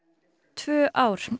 tvö ár